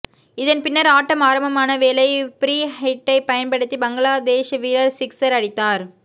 இதன் பின்னர் ஆட்டம் ஆரம்பமானவேளை பிரீ ஹிட்டை பயன்படுத்தி பங்களாதேஸ் வீரர் சிக்சர் அடித்தார்